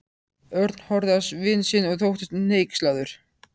Örn horfði á vin sinn og þóttist hneykslaður.